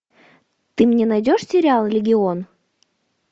ты мне найдешь сериал легион